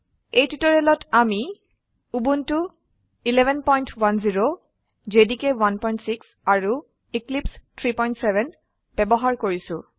এই টিউটোৰিয়েলত আমি উবুন্টু 1110 জেডিকে 16 আৰু এক্লিপছে 37 ব্যবহাৰ কৰিছো